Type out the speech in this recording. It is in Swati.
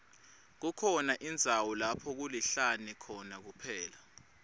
kukhona indzawo lapho kulihlane khona kuphela